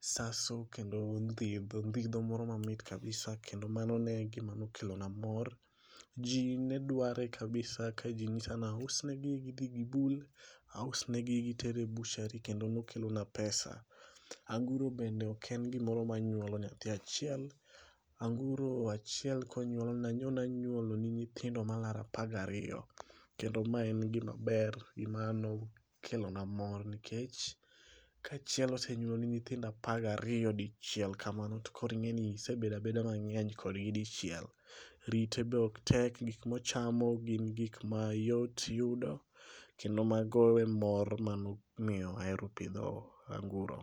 saso kendo moro mamit kabisa kendo mano ne e gima nokelo na mor. Ji ne dware kabisa ka ji ng'isa ni ausn egi gidhi gibul. Aus negi giter e butchery kendo nokelona pesa. Anguro bende ok en gimoro manyuolo nyathi achiel. Anguro achiel nyalo nyuoloni nyithindo malaro apaga riyo. Kendo ma en gimaber, gima nokelona mor nikech, ka achiel osenyuoloni nyithindo apaga riyo dichiel kamano, to koro ing'eni isebedo abedo mang'eny kodgi dichiel. Rite be ok tek. Gik mochamo gin gik mayot yudo, kendo mago e mor manomiyo ahero pidho anguro.